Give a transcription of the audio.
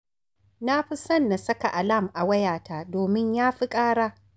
Nafi son na saka alam a wayata, domin ya fi ƙara